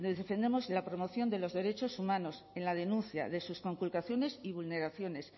defendemos la promoción de los derechos humanos en la denuncia de sus conculcaciones y vulneraciones